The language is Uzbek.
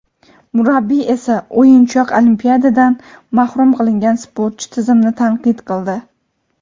murabbiy esa o‘yinchoq — Olimpiadadan mahrum qilingan sportchi tizimni tanqid qildi.